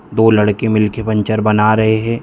दो लड़के मिलके पंचर बना रहे है।